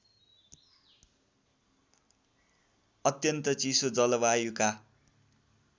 अत्यन्त चिसो जलवायुका